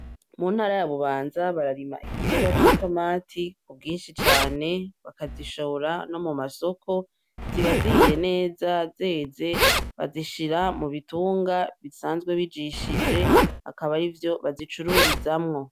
Muntara ya Bubanza bararima igiterwa c'itomati kubwinshi cane , bakazishora no mumasoko ziba zihiye neza zeze, bazishira mubitunga bisanzwe bijishije akaba arivyo bazicururizamwo